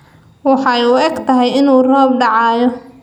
waxey uu egtahy inu roob dacayo